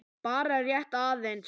Bara rétt aðeins.